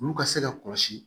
Olu ka se ka kɔlɔsi